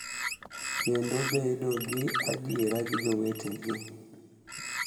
Kendo bedo gi adier gi jowetegi,